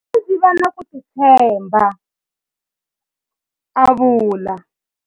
Ndzi tlhele ndzi va na ku titshemba, a vula.